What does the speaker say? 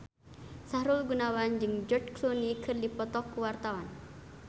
Sahrul Gunawan jeung George Clooney keur dipoto ku wartawan